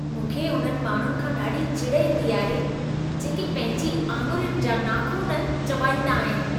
मूंखे उन्हनि माण्हुनि खां ॾाढी चिड़ ईंदी आहे, जेके पंहिंजी आङिरियुनि जा नाख़ुन चॿाड़ींदा आहिन।